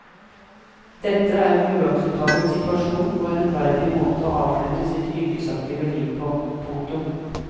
Dette er en uakseptabel situasjon og en uverdig måte å avslutte sitt yrkesaktive liv på. punktum